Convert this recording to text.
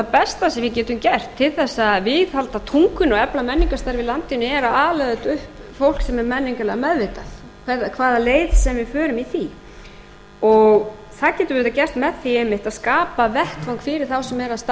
besta sem við getum gert til þess að viðhalda tungunni og efla menningarstarf í landinu er að ala auðvitað upp fólk sem er menningarlega meðvitað hvaða leið sem við förum í því það getur verið gert með því einmitt að skapa vettvang fyrir þá sem eru að starfa